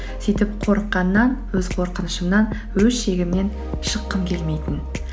сөйтіп қорыққаннан өз қорқынышымнан өз шегімнен шыққым келмейтін